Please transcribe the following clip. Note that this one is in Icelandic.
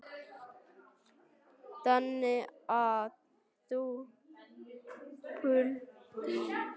Lillý Valgerður: Þannig að þið púlið í dag?